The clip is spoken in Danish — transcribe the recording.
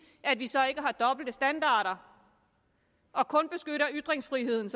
at vi så ikke har dobbeltstandarder og kun beskytter ytringsfriheden